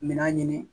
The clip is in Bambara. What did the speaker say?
Mina ɲini